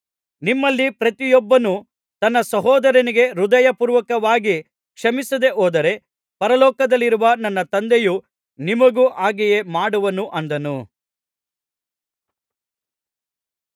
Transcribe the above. ನಿಮ್ಮಲ್ಲಿ ಪ್ರತಿಯೊಬ್ಬನೂ ತನ್ನ ಸಹೋದರನಿಗೆ ಹೃದಯಪೂರ್ವಕವಾಗಿ ಕ್ಷಮಿಸದೇ ಹೋದರೆ ಪರಲೋಕದಲ್ಲಿರುವ ನನ್ನ ತಂದೆಯು ನಿಮಗೂ ಹಾಗೆಯೇ ಮಾಡುವನು ಅಂದನು